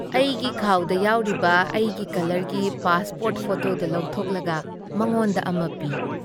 ꯑꯩꯒꯤ ꯈꯥꯥꯎꯗ ꯌꯥꯎꯔꯤꯕ ꯑꯩꯒꯤ ꯀꯂꯔꯒꯤ ꯄꯥꯁꯄꯣꯔꯠ ꯐꯣꯇꯣꯗꯨ ꯂꯧꯊꯣꯛꯂꯒ ꯃꯉꯣꯟꯗ ꯑꯃ ꯄꯤ ꯫